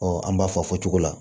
an b'a fɔ fɔcogo la